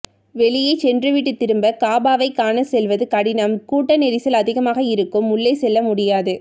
வெளியே சென்று விட்டு திரும்ப காபாவை காண செல்வது கடினம் கூட்ட நெரிசல் அதிகமாக இருக்கும் உள்ளே செல்ல முடியாது